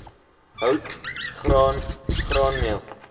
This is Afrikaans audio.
hout graan graanmeel